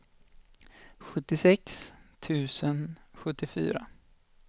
sjuttiosex tusen sjuttiofyra